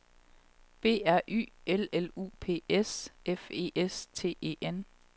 B R Y L L U P S F E S T E N